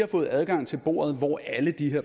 fri adgang til